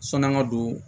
Sɔn'an ka don